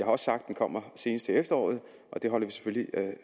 også sagt at den kommer senest til efteråret og det holder vi selvfølgelig